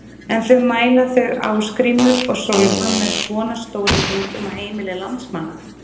En mæla þau Ásgrímur og Sólrún með svona stórum hundum á heimili landsmanna?